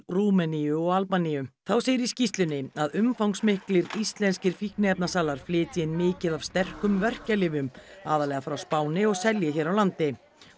Rúmeníu og Albaníu þá segir í skýrslunni að umfangsmiklir íslenskir fíkniefnasalar flytji inn mikið af sterkum verkjalyfjum aðallega frá Spáni og selji hér á landi